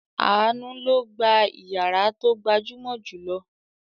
Àánú ló gba ìyàrá tó gbajúmọ̀ jù lọ.